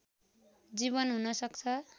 जीवन हुन सक्छ